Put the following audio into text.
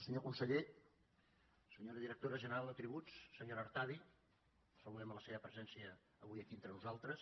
senyor conseller senyora directora general de tributs senyora artadi saludem la seva presència avui aquí entre nosaltres